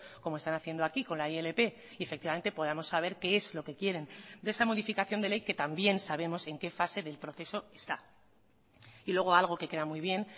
como están haciendo aquí con la ilp y efectivamente podamos saber qué es lo que quieren de esa modificación de ley que también sabemos en qué fase del proceso está y luego algo que queda muy bien